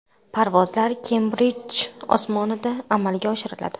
Parvozlar Kembridj osmonida amalga oshiriladi.